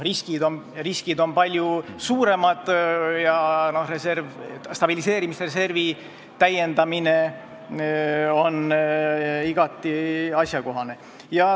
Riskid on palju suuremad ja stabiliseerimisreservi täiendamine on igati asjakohane.